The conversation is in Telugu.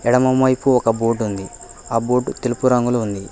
ఎడమవైపు ఒక బోటు ఉంది ఆ బోటు తెలుగు రంగులో ఉంది.